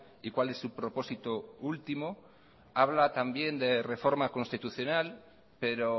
y cuál es su propósito último habla también de reforma constitucional pero